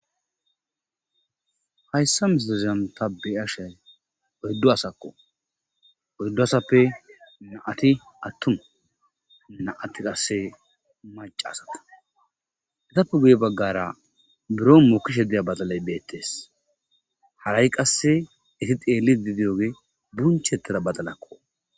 hayssa misileza ta be'ashay oyddu asakko oyddu asappe naati attu naati qasse maca asata etappe guye baggara buro mokishe deya batalay beettees hara7i qasse iti xeeli didiyoge burunchettira badalakko